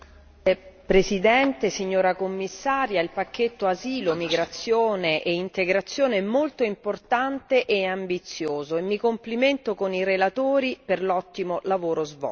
Signor Presidente, signora Commissaria, onorevoli colleghi, il pacchetto asilo, migrazione e integrazione è molto importante e ambizioso e mi complimento con i relatori per l'ottimo lavoro svolto.